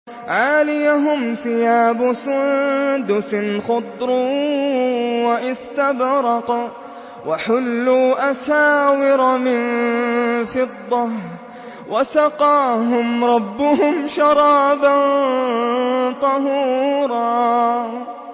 عَالِيَهُمْ ثِيَابُ سُندُسٍ خُضْرٌ وَإِسْتَبْرَقٌ ۖ وَحُلُّوا أَسَاوِرَ مِن فِضَّةٍ وَسَقَاهُمْ رَبُّهُمْ شَرَابًا طَهُورًا